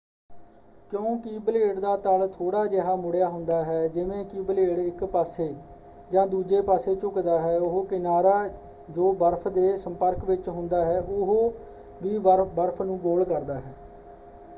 ਕਿਉਂਕਿ ਬਲੇਡ ਦਾ ਤਲ ਥੋੜ੍ਹਾ ਜਿਹਾ ਮੁੜਿਆ ਹੁੰਦਾ ਹੈ ਜਿਵੇਂ ਕਿ ਬਲੇਡ ਇੱਕ ਪਾਸੇ ਜਾਂ ਦੂਜੇ ਪਾਸੇ ਝੁਕਦਾ ਹੈ ਉਹ ਕਿਨਾਰਾ ਜੋ ਬਰਫ਼਼ ਦੇ ਸੰਪਰਕ ਵਿੱਚ ਹੁੰਦਾ ਹੈ ਉਹ ਵੀ ਬਰਫ਼ ਨੂੰ ਗੋਲ ਕਰਦਾ ਹੈ।